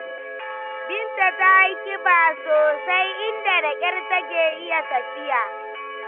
Binta ta yi ƙiba sosai, inda da ƙyar take iya tafiya.